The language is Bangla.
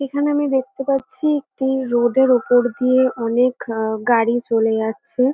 এখানে আমি দেখতে পাচ্ছি একটি রোড -এর উপর দিয়ে অনেক আ গাড়ি চলে যাচ্ছে।